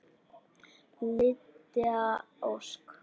Lydia Ósk.